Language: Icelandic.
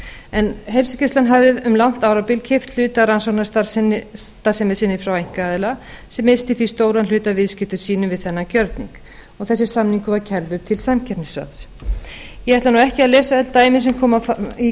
vegum heilsugæslan hafði um langt árabil keypt hluta af rannsóknastarfsemi sinni frá einkaaðila sem missti því stóran hluta af viðskiptum sínum við þennan gjörning þessi samningur var kærður til samkeppnisráðs ég ætla ekki að lesa öll dæmin sem koma fram í